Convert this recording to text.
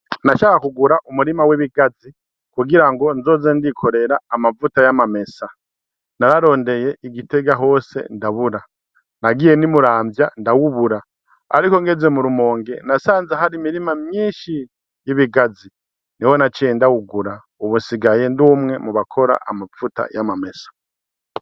Nashaka kugura umurima w'ibigazi kugira ngo nzoze ndikorera amavuta y'amamesa, nararondeye i Gitega hose ndabura, nagiye n'i Muranvya ndawubura, ariko ngeze mu Rumonge nasanze hari imirima myinshi y'ibigazi niho naciye ndawugura, ubu nsigaye ndi umwe mu bakora amavuta y'amamesa.